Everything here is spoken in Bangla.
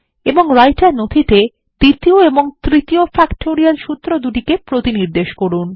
এবং রাইটার নথিতে দ্বিতীয় ও তৃতীয় ফ্যাক্টোরিয়াল সুত্রদুটিকে প্রতিনির্দেশ করুন